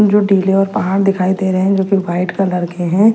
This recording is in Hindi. और पहाड़ दिखाई दे रहे हैं जो कि व्हाइट कलर के हैं।